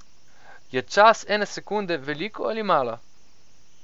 Je čas ene sekunde veliko ali malo?